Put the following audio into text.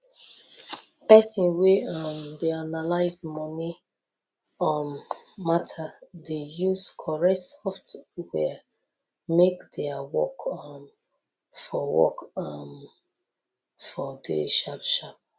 person wey um dey analyse moni um matter dey use corret software make their work um for work um for dey sharp sharp